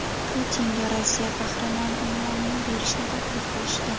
Putinga Rossiya Qahramoni unvonini berishni taklif qilishdi.